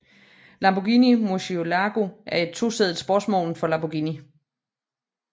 Lamborghini Murciélago er en to sædet sportsvogn fra Lamborghini